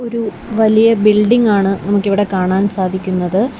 ഒരു വലിയ ബിൽഡിംഗ് ആണ് നമുക്കിവിടെ കാണാൻ സാധിക്കുന്നത്.